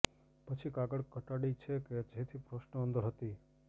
પછી કાગળ ઘટાડી છે કે જેથી પ્રશ્ન અંદર હતી